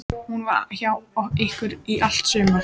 Hún var hjá ykkur í allt sumar.